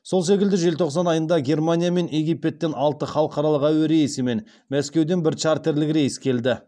сол секілді желтоқсан айында германия мен египеттен алты халықаралық әуе рейсі және мәскеуден бір чартерлік рейс келді